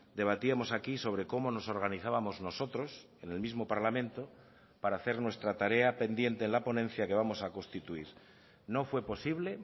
debatíamos aquí sobre cómo nos organizábamos nosotros en el mismo parlamento para hacer nuestra tarea pendiente en la ponencia que vamos a constituir no fue posible